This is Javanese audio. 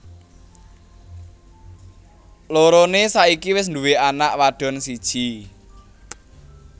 Loroné saiki wis duwé anak wadon siji